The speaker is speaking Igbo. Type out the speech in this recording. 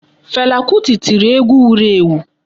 Fela kuti tiri egwu wuru ewu.